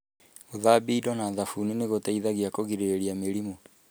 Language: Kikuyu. Gũthambia indo na thabuni nĩ gũteithagia kũgirĩrĩria mĩrimũ.